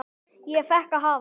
Ég fékk að hafa